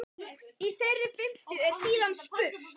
Í þeirri fimmtu er síðan spurt?